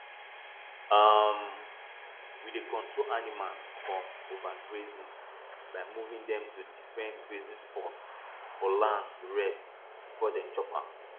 um we dey control animals from overgrazing by moving dem to different grazing spots for land to rest before dem chop am